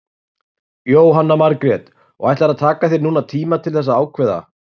Jóhanna Margrét: Og ætlarðu að taka þér núna tíma til þess að ákveða?